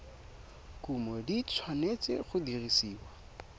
kumo di tshwanetse go dirisiwa